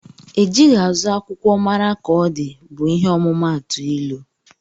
Ejighi azụ akwụkwọ mara ka ọdi bu ihe ọmumatu ilụ.